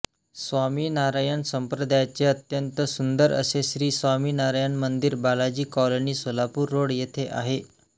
स्वामीनारायण संप्रदायाचे अत्यंत सुंदर असे श्री स्वामीनारायण मंदिर बालाजी कॉलोनी सोलापूर रोड येथे आहे